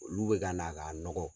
Olu bɛ ka na k'a nɔgɔ.